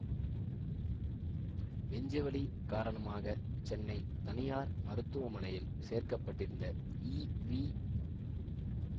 நெஞ்சுவலி காரணமாக சென்னை தனியார் மருத்துவமனையில் சேர்க்கப்பட்டிருந்த ஈ வி